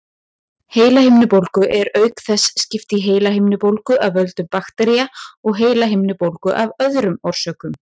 Heilahimnubólgu er auk þess skipt í heilahimnubólgu af völdum baktería og heilahimnubólgu af öðrum orsökum.